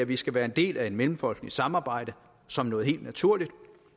vi skal være en del af et mellemfolkeligt samarbejde som noget helt naturligt